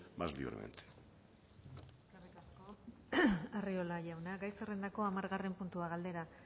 más libremente eskerrik asko arriola jauna gai zerrendako hamargarren puntua galdera